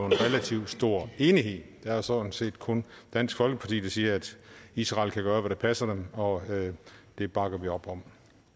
relativt stor enighed det er sådan set kun dansk folkeparti der siger at israel kan gøre hvad der passer dem og det bakker vi op om